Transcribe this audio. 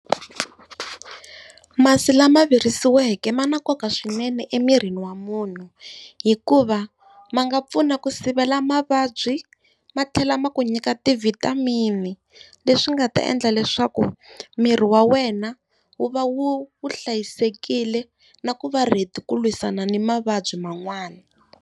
Masi lama virisiweke ma na nkoka swinene emirini wa munhu, hikuva ma nga pfuna ku sivela mavabyi matlhela ma ku nyika ti-vitamin-i leswi nga ta endla leswaku miri wa wena wu va wu wu hlayisekile na ku va ready ku lwisana ni mavabyi man'wani.